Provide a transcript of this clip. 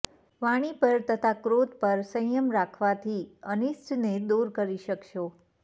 વાણી પર તથા ક્રોધ પર સંયમ રાખવાથી અનિષ્ટને દૂર કરી શકશો